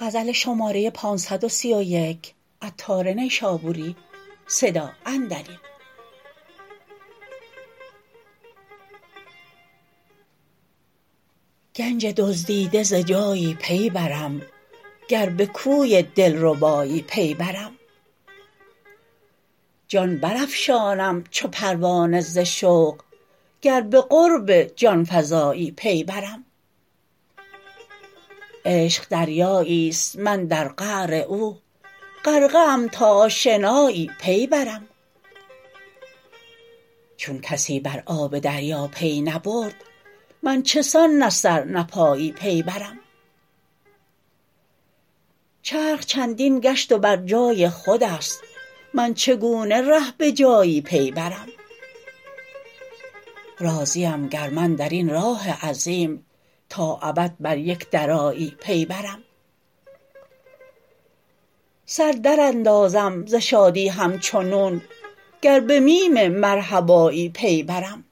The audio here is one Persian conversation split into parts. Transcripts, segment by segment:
گنج دزدیده ز جایی پی برم گر به کوی دلربایی پی برم جان برافشانم چو پروانه ز شوق گر به قرب جانفزایی پی برم عشق دریایی است من در قعر او غرقه ام تا آشنایی پی برم چون کسی بر آب دریا پی نبرد من چه سان نه سر نه پایی پی برم چرخ چندین گشت و بر جای خوداست من چگونه ره به جایی پی برم راضیم گر من درین راه عظیم تا ابد بر یک درایی پی برم سر دراندازم ز شادی همچو نون گر به میم مرحبایی پی برم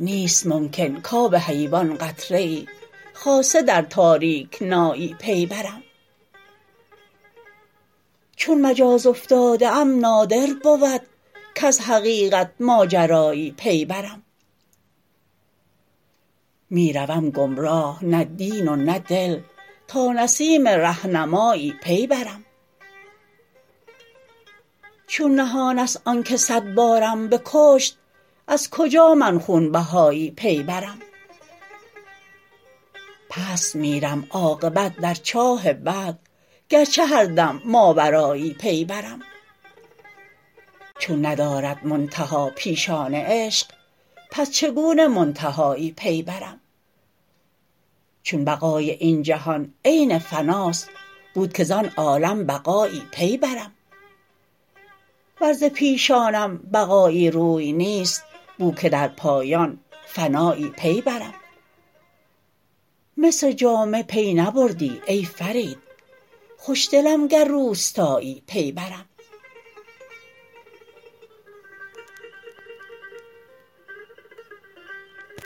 نیست ممکن کاب حیوان قطره ای خاصه در تاریکنایی پی برم چون مجاز افتاده ام نادر بود کز حقیقت ماجرایی پی برم می روم گمراه نه دین و نه دل تا نسیم رهنمایی پی برم چون نهان است آنکه صد بارم بکشت از کجا من خونبهایی پی برم پست میرم عاقبت در چاه بعد گرچه هر دم ماورایی پی برم چون ندارد منتها پیشان عشق پس چگونه منتهایی پی برم چون بقای این جهان عین فناست بود که زان عالم بقایی پی برم ور ز پیشانم بقایی روی نیست بو که در پایان فنایی پی برم مصر جامع پی نبردی ای فرید خوشدلم گر روستایی پی برم